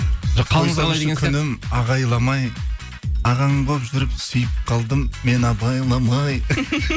күнім ағайламай ағаң болып жүріп сүйіп қалдым мен абайламай